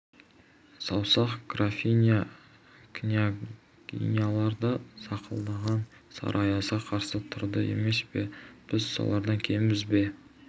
саусақ графиня княгинялар да сақылдаған сары аязға қарсы тұрды емес пе біз солардан кембіз бе